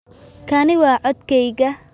Kani waa codkayga